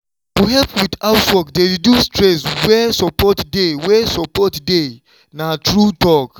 to help with housework dey reduce stress where support dey where support dey na true talk.